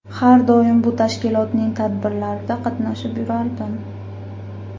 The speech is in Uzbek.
Har doim bu tashkilotning tadbirlarida qatnashib yurardim.